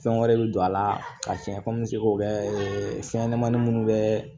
Fɛn wɛrɛ bi don a la ka fiyɛ komi seko la fɛn ɲɛnɛmanin minnu be